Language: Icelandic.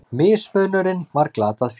Mismunurinn var glatað fé.